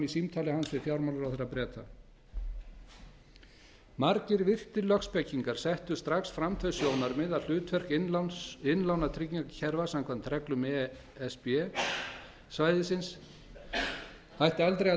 við fjármálaráðherra breta margir virtir lögspekingar settu strax fram þau sjónarmið að hlutverk innlánatryggingakerfa samkvæmt reglum e s b e e s svæðisins ætti aldrei að